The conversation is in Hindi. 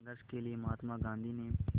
संघर्ष के लिए महात्मा गांधी ने